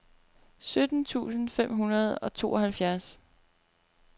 sytten tusind fem hundrede og tooghalvfjerds